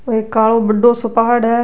एक कालो बड्डो सो पहाड़ है।